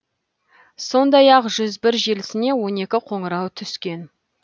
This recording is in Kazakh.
сондай ақ жүз бір желісіне он екі қоңырау түскен